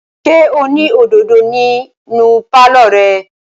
Ṣé o ní òdòdó nínú pálọ̀ rẹ?